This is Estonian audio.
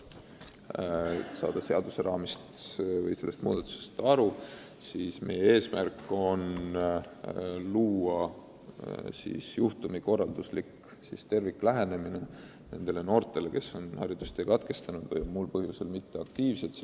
Et seaduseelnõuga pakutavast muudatusest oleks kergem aru saada, selgitan, et meie eesmärk on juurutada juhtumikorralduslik terviklähenemine nendele noortele, kes on haridustee katkestanud või on muul moel mitteaktiivsed.